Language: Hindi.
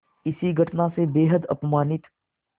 इस घटना से बेहद अपमानित